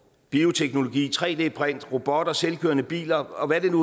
bioteknologi tre d print robotter selvkørende biler og hvad det nu